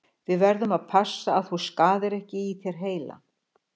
Við verðum að passa að þú skaðir ekki í þér heilann.